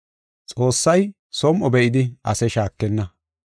Xoossay som7o be7idi ase shaakenna.